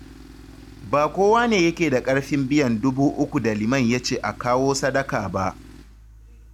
Ba kowa ne yake da ƙarfin iya biyan Dubu ukun da Liman ya ce a kawo sadaka ba